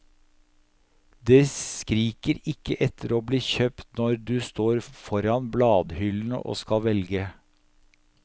Det skriker ikke etter å bli kjøpt når du står foran bladhyllene og skal velge.